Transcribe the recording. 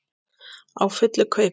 Á fullu kaupi.